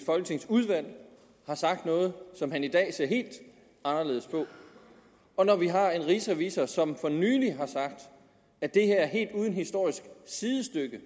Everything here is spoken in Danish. folketingsudvalg har sagt noget som han i dag ser helt anderledes på og når vi har en rigsrevisor som for nylig har sagt at det her er helt uden historisk sidestykke